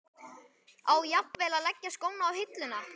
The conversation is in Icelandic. Á jafnvel að leggja skóna á hilluna?